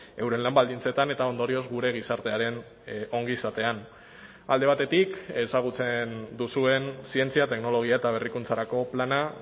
euren lan baldintzetan eta ondorioz gure gizartearen ongizatean alde batetik ezagutzen duzuen zientzia teknologia eta berrikuntzarako plana